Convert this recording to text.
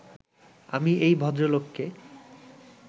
আমি এই ভদ্রলোককে